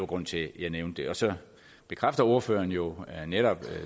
grunden til at jeg nævnte det så bekræfter ordføreren jo netop